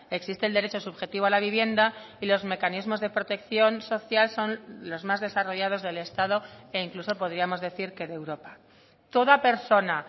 existe el derecho subjetivo a la vivienda y los mecanismos de protección social son los más desarrollados del estado e incluso podríamos decir que de europa toda persona